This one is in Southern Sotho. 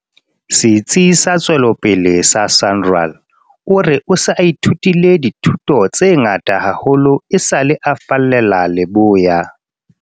Setsi sa Tswe lopele sa SANRAL, o re o se a ithutile dithuto tse ngata haholo esale a fallela leboya.